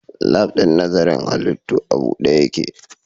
Lab ɗin nazarin halittu a buɗe yake